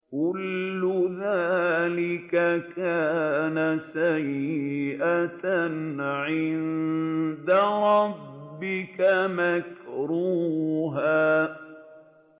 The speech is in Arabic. كُلُّ ذَٰلِكَ كَانَ سَيِّئُهُ عِندَ رَبِّكَ مَكْرُوهًا